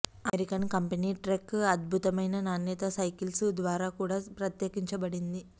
American company Trek అద్భుతమైన నాణ్యత cycles ద్వారా కూడా ప్రత్యేకించబడింది